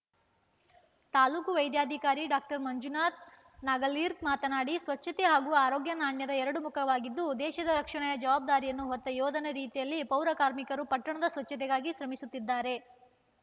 ತಾಲೂಕು ವೈದ್ಯಾಧಿಕಾರಿ ಡಾಕ್ಟರ್ ಮಂಜುನಾಥ ನಾಗಲೀಕರ್‌ ಮಾತನಾಡಿ ಸ್ವಚ್ಛತೆ ಹಾಗೂ ಆರೋಗ್ಯ ನಾಣ್ಯದ ಎರಡು ಮುಖವಾಗಿದ್ದು ದೇಶದ ರಕ್ಷಣೆಯ ಜವಾಬ್ದಾರಿಯನ್ನು ಹೊತ್ತ ಯೋಧನ ರೀತಿಯಲ್ಲಿ ಪೌರಕಾರ್ಮಿಕರು ಪಟ್ಟಣದ ಸ್ವಚ್ಛತೆಗಾಗಿ ಶ್ರಮಿಸುತ್ತಿದ್ದಾರೆ